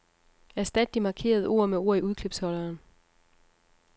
Erstat de markerede ord med ord i udklipsholderen.